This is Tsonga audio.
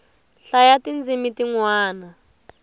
hlayaa ti ndzimi ti nwana